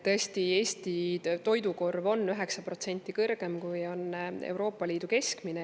Eesti toidukorv on 9% kõrgem, kui on Euroopa Liidu keskmine.